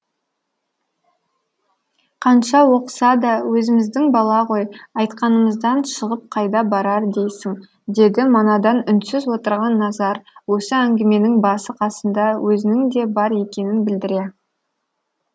қанша оқыса да өзіміздің бала ғой айтқанымыздан шығып қайда барар дейсің деді манадан үнсіз отырған назар осы әңгіменің басы қасында өзінің де бар екенін білдіре